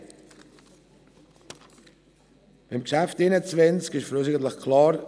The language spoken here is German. Beim Traktandum 21 ist für uns eigentlich klar: